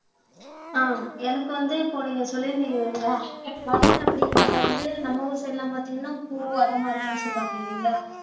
ஆஹ் எனக்கு வந்து இப்போ நீங்க சொல்லி இருந்தீங்க இல்லைங்களா மலர் அப்படீங்கிறதை வந்து நம்ம ஊர் சைடெல்லாம் பார்த்தீங்கன்னா பூ அது மாதிரி எல்லாம் சொல்லுவாங்க இல்லைங்களா